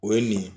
O ye nin ye